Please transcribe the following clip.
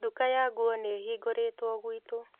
Nduka ya nguo nĩĩhingũrĩtwo gwitũ